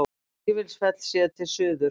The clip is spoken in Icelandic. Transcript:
Vífilsfell séð til suðurs.